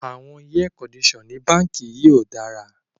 The air conditioners in this bank is bad